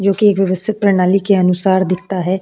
जो कि व्यवस्थित प्रणाली के अनुसार दिखता है --